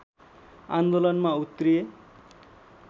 आन्दोलनमा उत्रिए